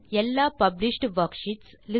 எல்லா published worksheets